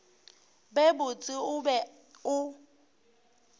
be botse o be o